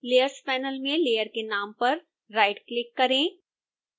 layers panel में layer के नाम पर राइटक्लिक करें